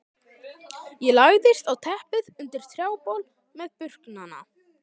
Ég lagðist á teppið undir trjábol meðal burknanna.